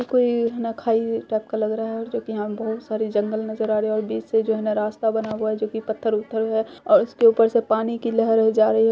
ये कोई ना खाई टाइप का लग रहा है जो कि यहाँ बहुत सारे जंगल नजर आ रहे हैं| बीच से जो हैना रास्ता बना हुआ है जोकि पत्थर-उत्थर है उसके ऊपर से पानी की लहरें जा रही है।